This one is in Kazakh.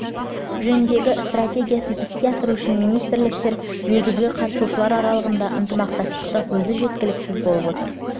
жөніндегі стратегиясын іске асыру үшін министрліктер мен негізгі қатысушылар аралығындағы ынтымақтастықтың өзі жеткіліксіз болып отыр